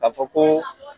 Ka fɔ ko